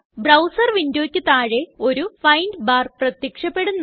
browser വിൻഡോയ്ക്ക് താഴെ ഒരു ഫൈൻഡ് ബാർ പ്രത്യക്ഷപ്പെടുന്നു